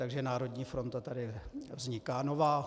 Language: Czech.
Takže národní fronta tady vzniká nová.